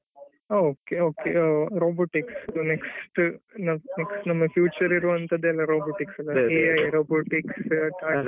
ಓ okay okay robotics next ನಮ್ಮ future ಇರುವಂತದ್ದು robotics AI robotics.